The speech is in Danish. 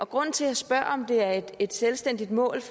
grunden til jeg spørger om det er et selvstændigt mål